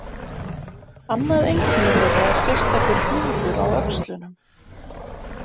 Annað einkenni þeirra er sérstakur hnúður á öxlunum.